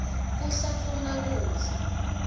kuhlafuna kudla